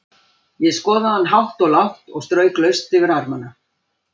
Ég skoðaði hann hátt og lágt og strauk laust yfir armana.